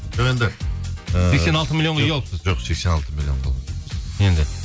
жоқ енді і сексен алты миллионға үй алыпсыз жоқ сексен алты енді